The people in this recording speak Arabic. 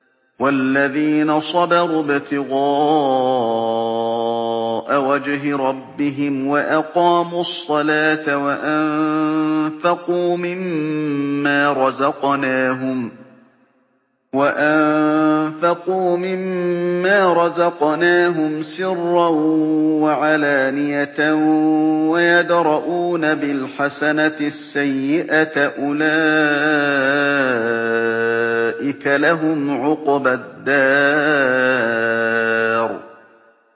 وَالَّذِينَ صَبَرُوا ابْتِغَاءَ وَجْهِ رَبِّهِمْ وَأَقَامُوا الصَّلَاةَ وَأَنفَقُوا مِمَّا رَزَقْنَاهُمْ سِرًّا وَعَلَانِيَةً وَيَدْرَءُونَ بِالْحَسَنَةِ السَّيِّئَةَ أُولَٰئِكَ لَهُمْ عُقْبَى الدَّارِ